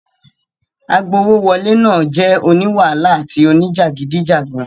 Agbowówọlé náà jẹ́ oní wàhálà àti oníjàgídíjàgan.